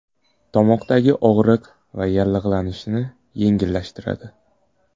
Tomoqdagi og‘riq va yallig‘lanishni yengillashtiradi.